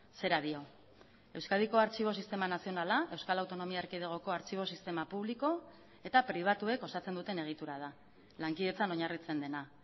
zera dio euskadiko artxibo sistema nazionala euskal autonomia erkidegoko artxibo sistema publiko eta pribatuek osatzen duten egitura da lankidetzan oinarritzen dena